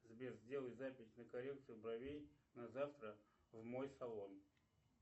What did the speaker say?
сбер сделай запись на коррекцию бровей на завтра в мой салон